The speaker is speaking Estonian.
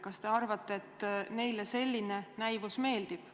Kas te arvate, et neile selline näivus meeldib?